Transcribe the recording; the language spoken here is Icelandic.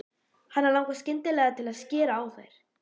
Hana langar skyndilega til að skera á þær.